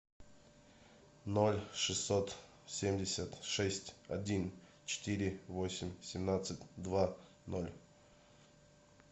ноль шестьсот семьдесят шесть один четыре восемь семнадцать два ноль